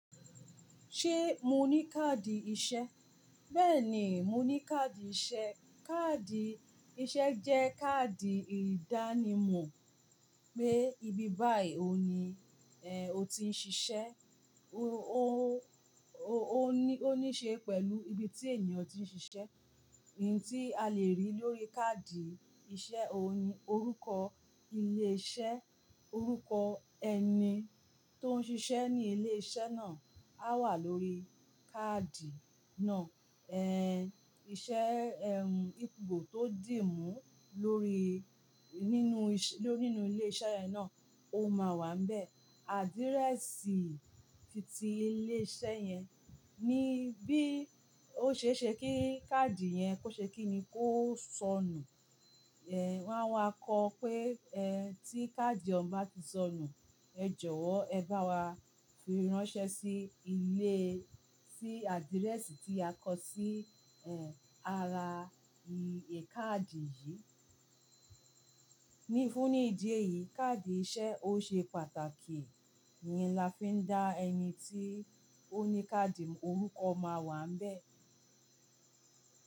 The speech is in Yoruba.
Ṣé mo ní káàdì iṣẹ́? Bẹ́ẹ̀ni, mo ní káàdì iṣẹ́. Káàdì iṣẹ́ jẹ́ káàdì ìdánimọ̀ pé ibi báyìí òun ni- eh o ti ń ṣiṣẹ́. Ó níṣe pẹ̀lú ibi tí ènìyàn ti ń ṣiṣẹ́. Ohun tí a le rí lórí káàdì iṣẹ́ òní, orúkọ ilé-iṣẹ́, orúkọ ẹni tó ń ṣiṣẹ́ ní ilé-iṣẹ́ náà á wà lórí káàdì náà. Ẹ̀ iṣẹ́ ẹ́hùn ìpo tó dì mú lórí nínú ilé iṣẹ́ yẹn náà ó máa wà níbẹ̀. Àdíréṣì ti ti ilé iṣẹ́ yẹn ní bí ó ṣe ṣe kí káàdì yẹn kó ṣe kí ni kó sọnù. Wọ́n máa wa kọ pé ẹ́ tí káàdì ọ̀ún bá ti sọnù, ẹ jọ̀wọ́ ẹ bá wa fi ránṣẹ́ sí ilé sí àdíréṣì tí a kọ sí ẹ́ ara ìkàdí yìí. Ní fún ní ìdí èyí, káàdì iṣẹ́ ó ṣe pàtàkì iyen la fi dá ẹni tí ó ní káàdì orúkọ máa wà níbẹ̀.